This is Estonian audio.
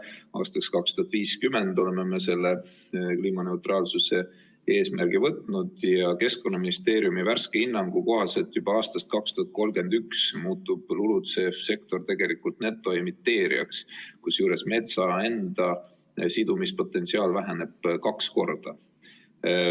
Aastaks 2050 oleme me selle kliimaneutraalsuse eesmärgi võtnud ja Keskkonnaministeeriumi värske hinnangu kohaselt muutub juba aastast 2031 LULUCF-sektor tegelikult netoemiteerijaks, kusjuures metsa enda sidumispotentsiaal väheneb kaks korda.